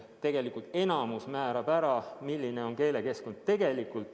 Tegelikult enamiku määrab ära see, milline on keelekeskkond.